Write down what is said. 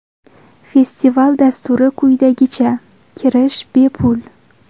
Festival dasturi quyidagicha: Kirish bepul.